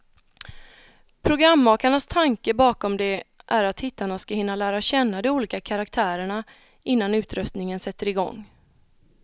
Programmakarnas tanke bakom det är att tittarna ska hinna lära känna de olika karaktärerna, innan utröstningen sätter igång.